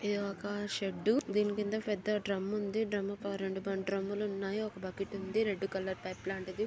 ఇదొక షెడ్డు దీని కింద పెద్ద డ్రుమ్ము ఉంది డ్రుమ్ము పై రెండు పైన రెండు డ్రుమ్ము లున్నాయి ఒక బకెట్ ఉంది రెడ్ కలర్ పైప్ లాంటిది.